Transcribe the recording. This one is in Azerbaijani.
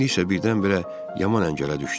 İndi isə birdən-birə yaman əngələ düşdüm.